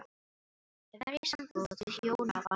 Að vera í sambúð og hjónabandi